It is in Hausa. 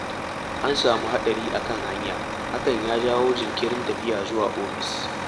An samu hadari a kan hanya, hakan ya jawo jinkirin tafiya zuwa ofis.